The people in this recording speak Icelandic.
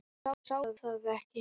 Ég sá það ekki.